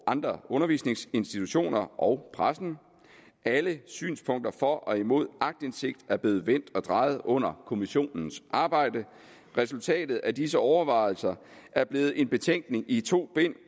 andre undervisningsinstitutioner og pressen alle synspunkter for og imod aktindsigt er blevet vendt og drejet under kommissionens arbejde resultatet af disse overvejelser er blevet en betænkning i to bind